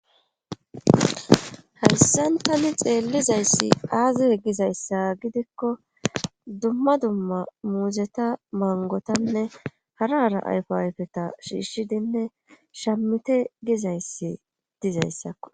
Hayssantani xeellizayssi aazi e gizayssa gidikko dumma dumma muuzeta mangotanne harara ayfo ayfeta shiishidinne shamite gizayssi dizayssakko.